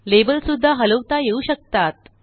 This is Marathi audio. लेबल सुद्धा हलवता येऊ शकतात